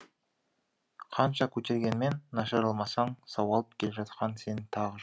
қанша көтергенмен нашарламасаң сауалып келе жатқан сен тағы жоқ